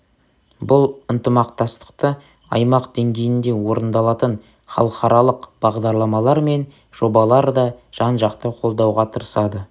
бұл ынтымақтастықты аймақ деңгейінде орындалатын халықаралық бағдарламалар мен жобалар да жан-жақты қолдауға тырысады